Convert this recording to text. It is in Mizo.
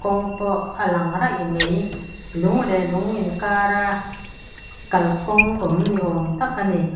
kawng pawh a lang raih mai lung leh lung inkara kalkawng awm ni awm tak a ni a hm --